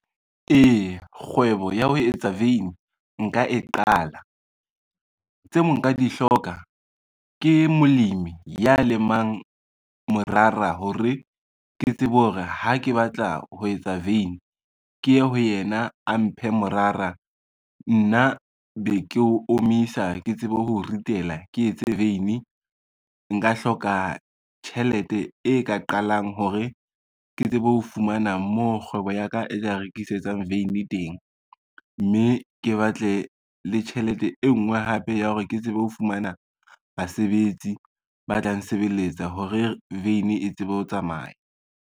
Eya kgwebo ya ho etsa veine nka e qala. Tseo nka di hloka ke molemi ya lemang morara hore ke tsebe hore ha ke batla ho etsa veine, ke ye ho yena a mphe morara, nna be ke o omisa ke tsebe ho ritela ke etse veine. Nka hloka tjhelete e ka qalang hore ke tsebe ho fumana moo kgwebo ya ka e ka rekisetsang veine teng, mme ke batle le tjhelete e ngwe hape ya hore ke tsebe ho fumana basebetsi ba tla nsebeletsa hore veine e tsebe ho tsamaya.